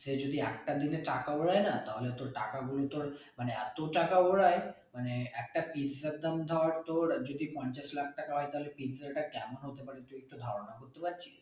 সে যদি একটার জন্য টাকা ওরাই না তাহলে তোর টাকা গুলো তোর মানে এত টাকা ওরাই মানে একটা pizza এর দাম ধর তোর যদি পঞ্চাশ লাখ টাকা হয় তালে pizza টা কেমন হতে পারে তুই একটু ধারণা করতে পারছিস